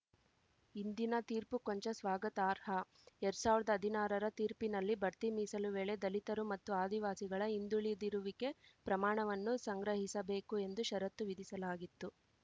ಇಂದಿನ ತೀರ್ಪು ಕೊಂಚ ಸ್ವಾಗತಾರ್ಹ ಎರಡ್ ಸಾವಿರ್ದಾ ಹದಿನಾರರ ತೀರ್ಪಿನಲ್ಲಿ ಬಡ್ತಿ ಮೀಸಲು ವೇಳೆ ದಲಿತರು ಮತ್ತು ಆದಿವಾಸಿಗಳ ಹಿಂದುಳಿದಿರುವಿಕೆ ಪ್ರಮಾಣವನ್ನು ಸಂಗ್ರಹಿಸಬೇಕು ಎಂದು ಷರತ್ತು ವಿಧಿಸಲಾಗಿತ್ತು